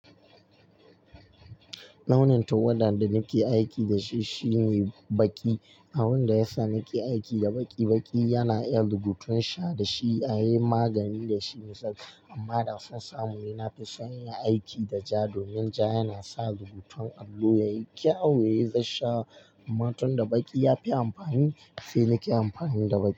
Launin tuwadan da nake aiki da shi shine baƙi. Abin da yasa nake aiki da baƙi baƙi yana iya rubutun sha da shi, a yi magani da shi yasa. Amma da son samu, ina fi son yin aiki da ja domin ja yana sa rubutun allo yayi kyau, yayi zasha. Amma tunda baƙi ya fi amfani, sai nake amfani da baƙi,